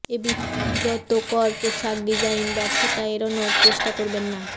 এই বিব্রতকর পোশাক ডিজাইন ব্যর্থতা এড়ানোর চেষ্টা করবেন না